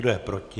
Kdo je proti?